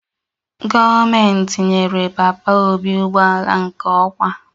Gọọmentị nyere papa obi ụgbọala nke okwa